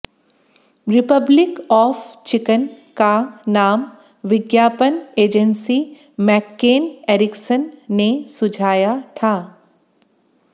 Republic of chicken का नाम विज्ञापन एजेंसी मैक्केन एरिक्सन ने सुझाया था